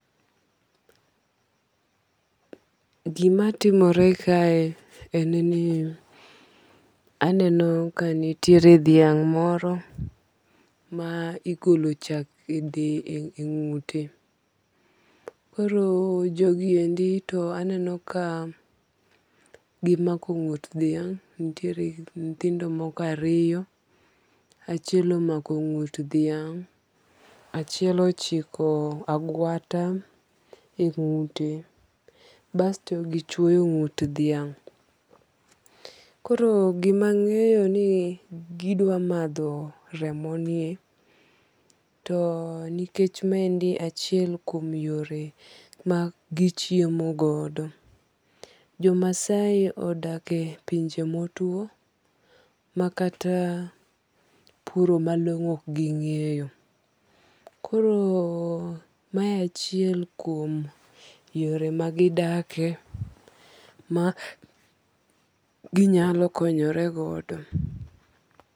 Gima timore kae en ni aneno ka nitiere dhiang' moro ma igolo chak e ng'ute. Koro jogi endi to aneno ka gimako ng'ut dhiang'. Nitiere nyithindo moko ariyo. Achiel omako ng'ut dhiang'. Achiel ochiko agwata e ng'ute. Basto gichwoyo ng'ut dhiang'. Koro gima ang'eyo ni gidwa madho remo ni. To nikech ma endi achiel kuom yore ma gichiemo godo. Jo maasai odake pinje motuo makata puro malong'o ok ging'eyo. Koro mae achiel kuom yore magidake ma ginyalo konyoregodo.